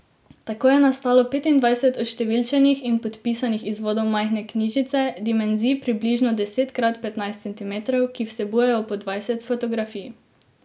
Tako je nastalo petindvajset oštevilčenih in podpisanih izvodov majhne knjižice, dimenzij približno deset krat petnajst centimetrov, ki vsebujejo po dvajset fotografij.